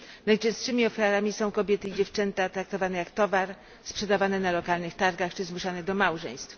Najczęstszymi ofiarami są kobiety i dziewczęta, traktowane jak towar, sprzedawane na lokalnych targach czy zmuszane do małżeństw.